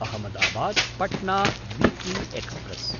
अहमदाबाद्–पट्ना weekly express